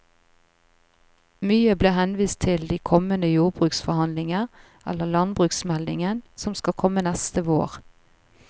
Mye ble henvist til de kommende jordbruksforhandlinger eller landbruksmeldingen, som skal komme neste vår.